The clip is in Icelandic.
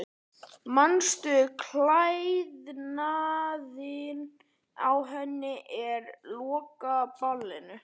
Manstu klæðnaðinn á henni á lokaballinu?